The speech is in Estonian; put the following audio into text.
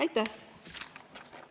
Aitäh!